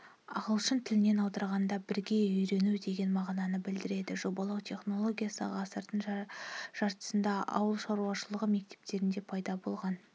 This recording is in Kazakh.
ағылшын тілінен аударғанда бірге үйрену деген мағынаны білдіреді жобалау технологиясы ғасырдың жартысында ауылшаруашылығы мектептерінде пайда болған